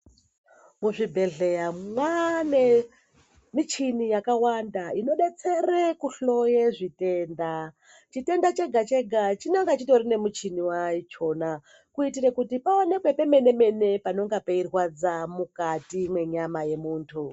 Muzvibhedhlera mwane muchini yakawanda inodetsera kuhloya zvitenda chitenda chega chega chinonge chitori nemichina wachona kuti paoneke pemene mene panenge pechirwadza mukati menyama yemuntu.